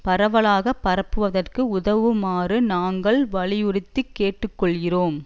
பரவலாக பரப்புவதற்கு உதவுமாறு நாங்கள் வலியுறுத்தி கேட்டு கொள்கிறோம்